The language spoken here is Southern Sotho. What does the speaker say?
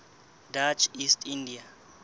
dutch east india